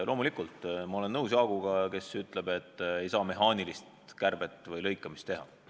Loomulikult, ma olen nõus Jaaguga, kes ütleb, et ei saa mehaanilist kärbet või lõikamist teha.